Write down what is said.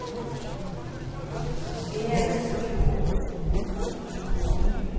Eresfjord